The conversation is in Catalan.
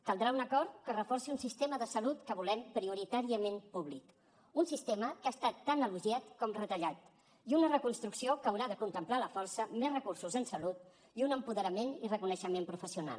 caldrà un acord que reforci un sistema de salut que volem prioritàriament públic un sistema que ha estat tan elogiat com retallat i una reconstrucció que haurà de contemplar a la força més recursos en salut i un empoderament i reconeixement professional